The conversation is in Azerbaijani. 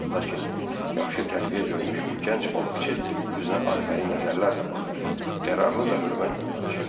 Lakin yaxşı tərbiyə görmüş bu gənc balıqçı özünə arxayın nəzərlərlə baxır, qərarlı və hörmətlə danışırdı.